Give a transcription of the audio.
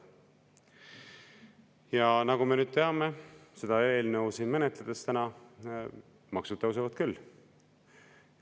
" Ja nagu me nüüd teame, täna siin seda eelnõu menetledes, maksud tõusevad küll.